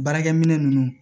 Baarakɛ minɛ ninnu